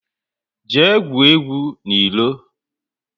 Jee gwuo egwu n'ilo! 6